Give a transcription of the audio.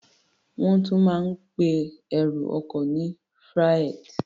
Wọ́n tún máa ń pe ẹrù ọkọ ní freight.